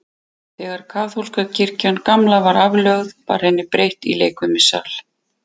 Þegar kaþólska kirkjan gamla var aflögð, var henni breytt í leikfimisal.